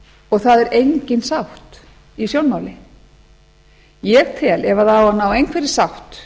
og það er engin sátt i sjónmáli ég tel að ef það á að ná einhverri sátt